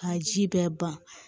Ka ji bɛɛ ban